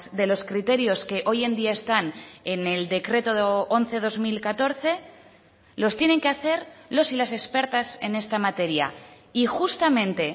de los criterios que hoy en día están en el decreto once barra dos mil catorce los tienen que hacer los y las expertas en esta materia y justamente